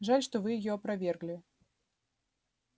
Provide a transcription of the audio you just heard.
жаль что вы её опровергли